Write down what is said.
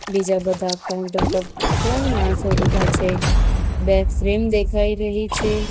બીજા બધા કાઉન્ટર પર ત્રણ માણસો ઊભા છે બે ફ્રેમ દેખાઈ રહી છે.